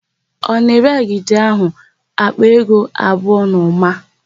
Ọ na-ere agidi áhụ̀ àkpà ego abụọ na ụma?